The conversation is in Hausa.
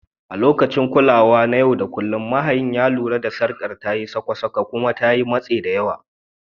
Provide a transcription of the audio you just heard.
A lokacin kulawa na yau da kullun, mahayin ya lura da sarkar tayi sakwa sakwa kuma ya matse ta.